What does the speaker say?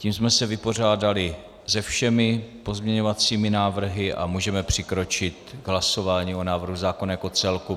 Tím jsme se vypořádali se všemi pozměňovacími návrhy a můžeme přikročit k hlasování o návrhu zákona jako celku.